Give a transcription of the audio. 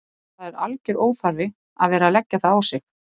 Það er alger óþarfi að vera að leggja það á sig.